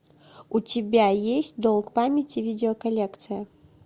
у тебя есть долг памяти видео коллекция